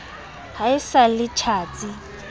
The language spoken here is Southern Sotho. ha e sa le tjhatsi